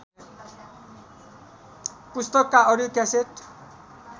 पुस्तकका audio cassette